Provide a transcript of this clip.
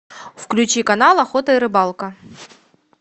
включи канал охота и рыбалка